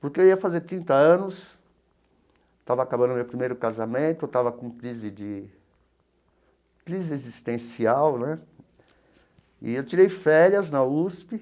Porque eu ia fazer trinta anos, estava acabando o meu primeiro casamento, estava com crise de crise existencial né, e eu tirei férias na USP.